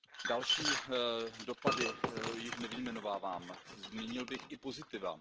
Další dopady již nevyjmenovávám, zmínil bych i pozitiva.